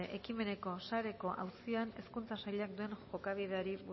ekimeneko sareko auzian hezkuntza sailak duen jokabideari